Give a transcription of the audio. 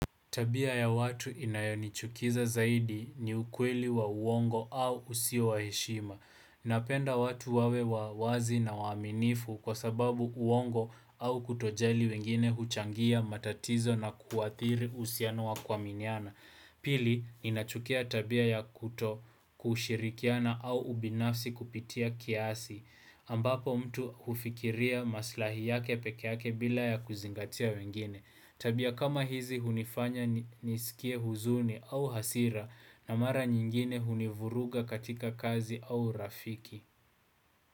Tabia ya watu inayonichukiza zaidi ni ukweli wa uongo au usio wa heshima. Napenda watu wawe wazi na waaminifu kwa sababu uongo au kutojali wengine huchangia matatizo na kuathiri uhusiano wa kuaminiana. Pili, ninachukia tabia ya kuto kushirikiana au ubinafsi kupitia kiasi. Ambapo mtu hufikiria maslahi yake peke yake bila ya kuzingatia wengine. Tabia kama hizi hunifanya nisikie huzuni au hasira na mara nyingine hunivuruga katika kazi au urafiki.